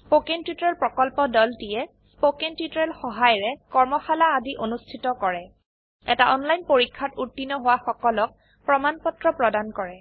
spoken tutorial প্ৰকল্পৰ দলটিয়ে spoken tutorial সহায়িকাৰে কৰ্মশালা আদি অনুষ্ঠিত কৰে এটা অনলাইন পৰীক্ষাত উত্তীৰ্ণ হোৱা সকলক প্ৰমাণ পত্ৰ প্ৰদান কৰে